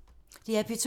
DR P2